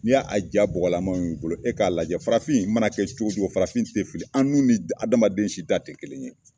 N'i y'a ja bɔgɔlaman y'u bolo, e k'a lajɛ farafin mana kɛ cogo cogo farafin tɛ fili. An nun ni adamaden si ta tɛ kelen ye.